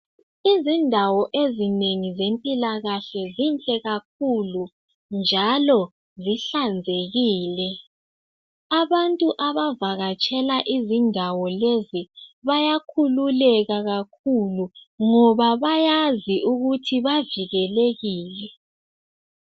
Izindawo ezinengi zempilakahle zinhle kakhulu. Njalo zihlanzekile. Abantu abavakatshela izindawo lezi bayakhululeka kakhulu ngobabayazi ukuthi bavikelekile.